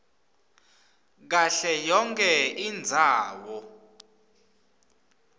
kahle yonkhe indzawo